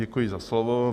Děkuji za slovo.